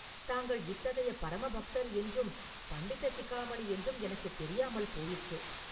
தாங்கள் இத்தகைய பரம பக்தர் என்றும், பண்டித சிகாமணி என்றும் எனக்குத் தெரியாமல் போயிற்று.